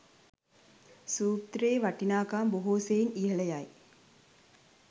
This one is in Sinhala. සූත්‍රයේ වටිනාකම බොහෝ සෙයින් ඉහළ යයි.